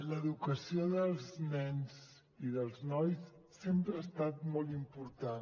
l’educació dels nens i dels nois sempre ha estat molt important